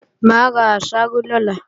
Mà á ra àsáró lọ́la